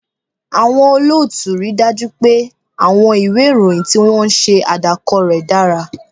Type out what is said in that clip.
Àwọn olóòtú rí i dájú pé àwọn ìwé ìròyìn tí wọ́n ń ṣe àdàkọ rẹ̀ dára